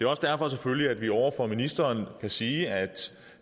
også derfor selvfølgelig at vi over for ministeren kan sige at